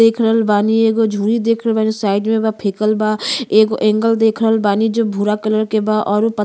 देख रहल बानी एक गो झूरी देखल बानी साइड में बा फेकल बा। एक गो एंगल देखल बानी जवन भूरा कलर के बा औरू --